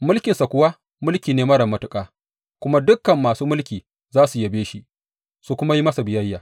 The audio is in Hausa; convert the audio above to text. Mulkinsa kuwa mulki ne marar matuƙa, kuma dukan masu mulki za su yabe shi, su kuma yi masa biyayya.’